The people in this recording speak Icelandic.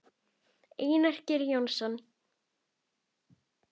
Einar Geir Jónsson